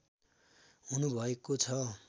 हुनुभएको छ